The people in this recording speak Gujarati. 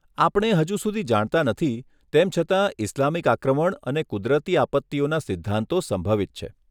આપણે હજુ સુધી જાણતા નથી, તેમ છતાં ઇસ્લામિક આક્રમણ અને કુદરતી આપત્તિઓના સિદ્ધાંતો સંભવિત છે.